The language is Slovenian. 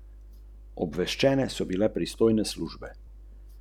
Nikakršnega.